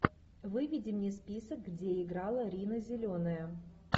выведи мне список где играла рина зеленая